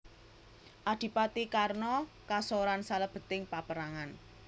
Adipati Karna kasoran salebeting paperangan